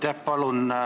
Aitäh!